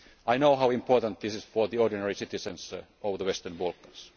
the region. I know how important this is for the ordinary citizens of the Western